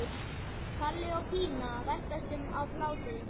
Palli og Pína veltast um af hlátri.